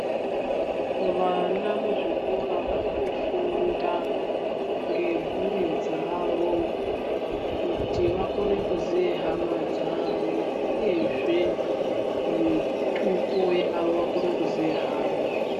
Vana muzvikora varikufunda ngemhuri dzavo kuti vakone kuziye hama dzavo uyezve mitupo yavo vakone kuziya hama.